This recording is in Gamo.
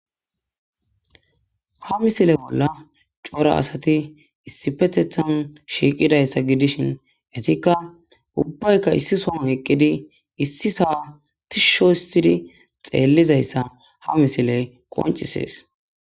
ha misile bolla cora asati issi pethethan shiiqidayssa gidishin etikka ubbaykka issi so eqqidi issi saatisho histidi xeellizayssa ha misiley qoncisees